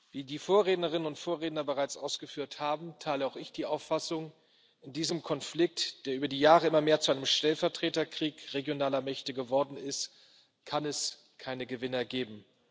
Wie die Vorrednerinnen und Vorredner bereits ausgeführt haben, teile auch ich die Auffassung In diesem Konflikt, der über die Jahre immer mehr zu einem Stellvertreterkrieg regionaler Mächte geworden ist, kann es keine Gewinner geben.